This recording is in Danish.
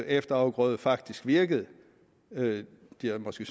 efterafgrøde faktisk virkede de har måske